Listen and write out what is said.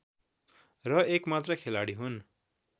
र एकमात्र खेलाडी हुन्